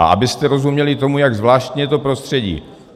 A abyste rozuměli tomu, jak zvláštní je to prostředí.